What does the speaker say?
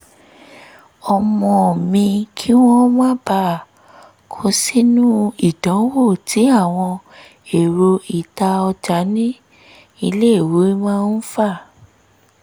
ọmọ mi kí wọ́n má bàa kó sínú ìdanwo tí àwọn ẹ̀rọ ìta ọjà ní iléèwé máa ń fà